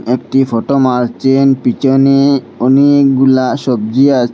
একটি ফটো মারচেন পিছনে অনেক অনেকগুলা সবজি আ--